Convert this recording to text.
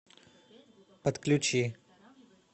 отключи